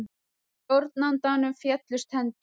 Stjórnandanum féllust hendur.